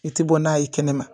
I tɛ bɔ n'a ye kɛnɛma